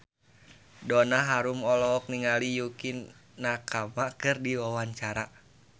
Donna Harun olohok ningali Yukie Nakama keur diwawancara